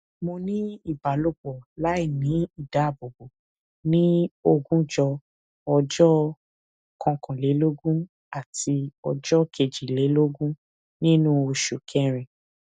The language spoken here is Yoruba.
mo ní ìbálòpọ láìní ìdáàbòbò ní ogúnjọ ọjọ kọkànlélógún àti ọjọ kejìlélógún nínú oṣù kẹrin